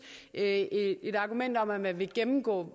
at et argument om at man vil gennemgå